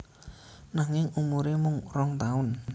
Nanging umuré mung rong taun